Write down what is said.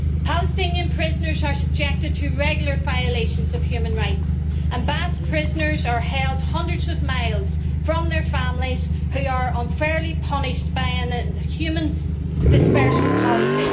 Palestinian prisoners are subjected to regular violations of human rights and Basque prisoners are held hundreds of miles from their families, who are unfairly punished by an inhuman dispersal policy.